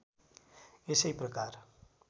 यसै प्रकार